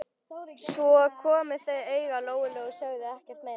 Svo komu þau auga á Lóu-Lóu og sögðu ekkert meira.